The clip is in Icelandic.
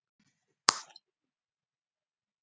Hödd: Hvernig fannst þér skaupið?